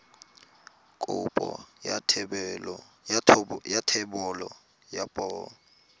kopo ya thebolo ya poo